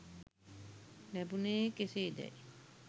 ලැබුණේ කෙසේදැයි